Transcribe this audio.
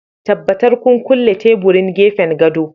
Tabbatar kun kulle teburin gefen gado